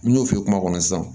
N'i y'o fi ye kuma kɔnɔ sisan